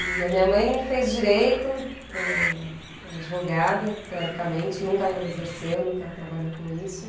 E a minha mãe fez direito, é é advogada, teoricamente, nunca exerceu, nunca trabalhou com isso.